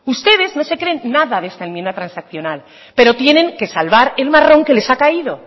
ustedes no se creen nada de esta enmienda transaccional pero tienen que salvar el marrón que les ha caído